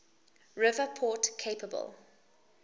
river port capable